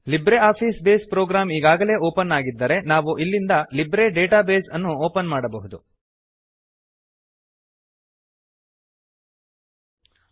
Libre office Base program ಈಗಾಗಲೇ open ತೆರೆದಿದ್ದರೆ ಇದ್ದರೆ ನಾವು ಇಲ್ಲಿಂದ ಲಿಬ್ರೆ ಡೇಟಾ ಬೇಸ್ ಅನ್ನು ಓಪನ್ ಮಾಡಬಹುದು ತೆರೆಯಬಹುದು